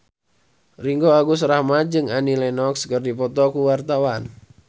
Ringgo Agus Rahman jeung Annie Lenox keur dipoto ku wartawan